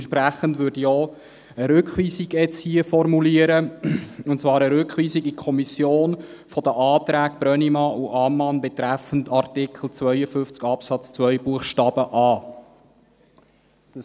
Entsprechend würde ich hier jetzt auch eine Rückweisung formulieren, und zwar eine Rückweisung der Anträge Brönnimann und Ammann betreffend Artikel 52 Absatz 2 Buchstabe a in die Kommission.